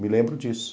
Me lembro disso.